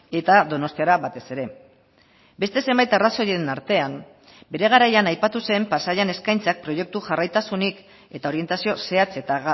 eta donostiara batez ere beste zenbait arrazoien artean bere garaian aipatu zen pasaian eskaintzak proiektu jarraitasunik eta orientazio zehatz eta